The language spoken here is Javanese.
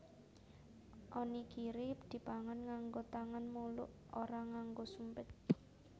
Onigiri dipangan nganggo tangan muluk ora nganggo sumpit